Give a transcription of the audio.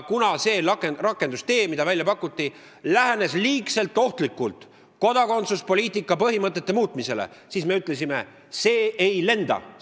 See rakendustee, mis välja pakuti, lähenes väga ohtlikult kodakondsuspoliitika põhimõtete muutmisele ja nii me ütlesime: "See ei lenda!